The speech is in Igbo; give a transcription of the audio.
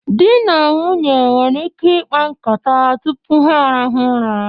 Di na nwunye nwere ike ikpa nkata tụpụ ha arahụ ụra